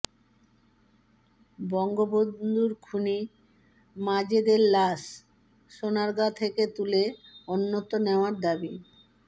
বঙ্গবন্ধুর খুনি মাজেদের লাশ সোনারগাঁ থেকে তুলে অন্যত্র নেওয়ার দাবি